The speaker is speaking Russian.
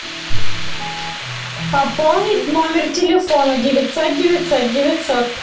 пополнить номер телефона девятьсот девятьсот девятьсот